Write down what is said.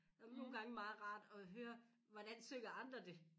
Nogen gange meget rart at høre hvordan synger andre det